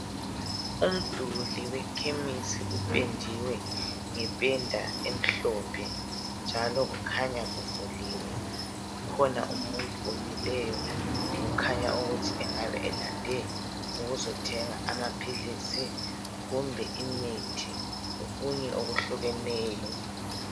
Umduli wekhemisi upendiwe ngependa emhlophe njalo kukhanya kuvuliwe, kukhona umuntu omileyo kukhanya ukuthi engabe elande ukuzothenga amaphilisi kumbe imithi, lokunye okuhlukeneyo